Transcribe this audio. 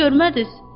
Kişini görmədiz?